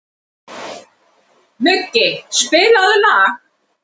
Muggi, spilaðu lag.